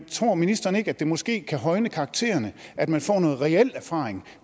tror ministeren ikke at det måske kan højne karaktererne at man får noget reel erfaring